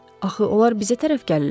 Axı onlar bizə tərəf gəlirlər.